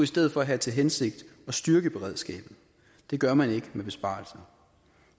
stedet for have til hensigt at styrke beredskabet det gør man ikke med besparelser